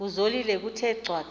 kuzolile kuthe cwaka